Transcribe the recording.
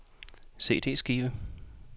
CD-skive